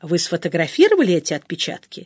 вы сфотографировали эти отпечатки